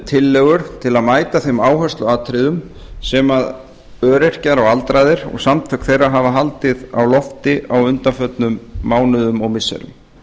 tillögur til að mæta þeim áhersluatriðum sem öryrkjar og aldraðir og samtök þeirra hafa haldið á lofti á undanförnum mánuðum og missirum